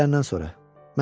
Gün əylənəndən sonra.